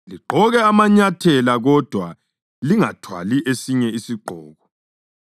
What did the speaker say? Ligqoke amanyathela kodwa lingathwali esinye isigqoko.